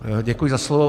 Děkuji za slovo.